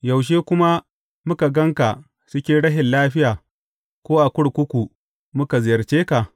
Yaushe kuma muka gan ka cikin rashin lafiya ko a kurkuku muka ziyarce ka?’